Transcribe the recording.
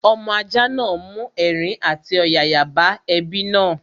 Ọmọ ajá náà mú ẹ̀rín àti ọ̀yàyà bá ẹbí náà